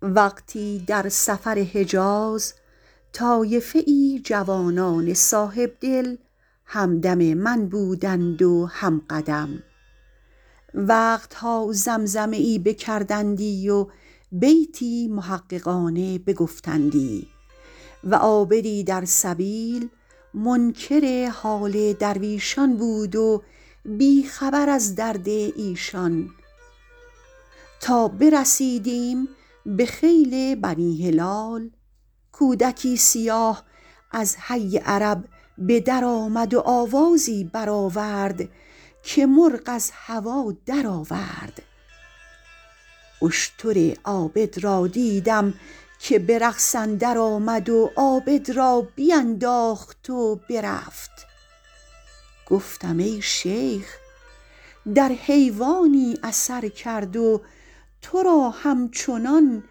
وقتی در سفر حجاز طایفه ای جوانان صاحبدل هم دم من بودند و هم قدم وقت ها زمزمه ای بکردندی و بیتی محققانه بگفتندی و عابدی در سبیل منکر حال درویشان بود و بی خبر از درد ایشان تا برسیدیم به خیل بنی هلال کودکی سیاه از حی عرب به در آمد و آوازی بر آورد که مرغ از هوا در آورد اشتر عابد را دیدم که به رقص اندر آمد و عابد را بینداخت و برفت گفتم ای شیخ در حیوانی اثر کرد و تو را همچنان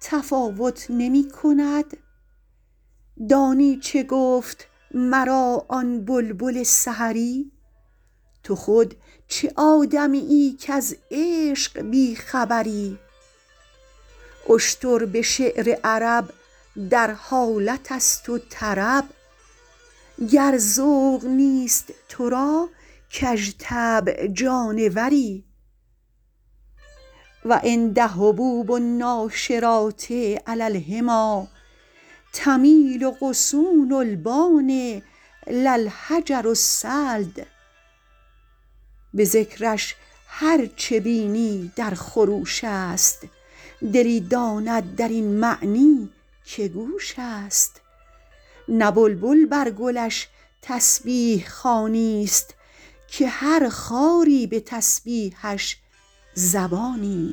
تفاوت نمی کند دانی چه گفت مرا آن بلبل سحری تو خود چه آدمیی کز عشق بی خبری اشتر به شعر عرب در حالت است و طرب گر ذوق نیست تو را کژطبع جانوری و عند هبوب الناشرات علی الحمیٰ تمیل غصون البان لا الحجر الصلد به ذکرش هر چه بینی در خروش است دلی داند در این معنی که گوش است نه بلبل بر گلش تسبیح خوانی است که هر خاری به تسبیحش زبانی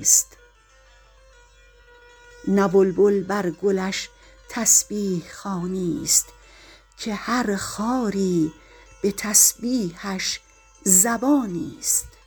است